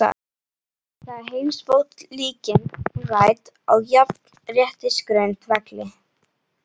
Þar er heimspólitíkin rædd á jafnréttisgrundvelli.